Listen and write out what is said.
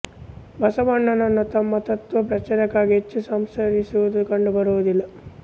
ಬಸವಣ್ಣನವರು ತಮ್ಮ ತತ್ತ್ವ ಪ್ರಚಾರಕ್ಕಾಗಿ ಹೆಚ್ಚು ಸಂಚರಿಸಿರುವುದು ಕಂಡು ಬರುವುದಿಲ್ಲ